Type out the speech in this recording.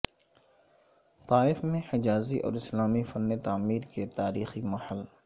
طائف میں حجازی اور اسلامی فن تعمیر کے تاریخی محل